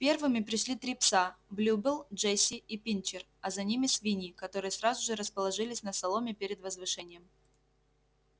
первыми пришли три пса блюбелл джесси и пинчер а за ними свиньи которые сразу же расположились на соломе перед возвышением